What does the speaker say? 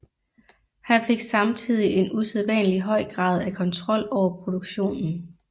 Han fik samtidig en usædvanlig høj grad af kontrol over produktionen